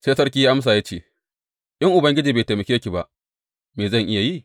Sai sarki ya amsa ya ce, In Ubangiji bai taimake ki ba, me zan iya yi?